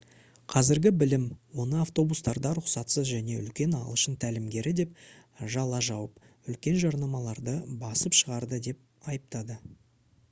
қазіргі білім оны автобустарда рұқсатсыз және үлкен ағылшын тәлімгері деп жала жауып үлкен жарнамаларды басып шығарды деп айыптады